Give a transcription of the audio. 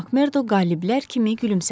Makmerdo qaliblər kimi gülümsədi.